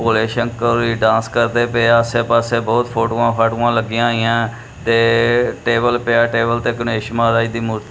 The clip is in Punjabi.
ਭੋਲੇ ਸ਼ੰਕਰ ਵੀ ਡਾਂਸ ਕਰਦੇ ਪਏ ਆਸੇ ਪਾਸੇ ਬਹੁਤ ਫੋਟੋਆਂ ਫਾਟੁਆਂ ਲਗੀਆਂ ਹੋਇਆਂ ਹੈਂ ਤੇ ਟੇਬਲ ਪਿਆ ਹੈ ਤੇ ਗਣੇਸ਼ ਮਹਾਰਾਜ ਦੀ ਮੂਰਤੀ --